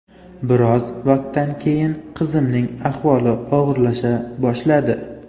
Biroz vaqtdan keyin qizimning ahvoli og‘irlasha boshladi.